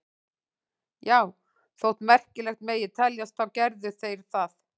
Já, þótt merkilegt megi teljast þá gerðu þeir það.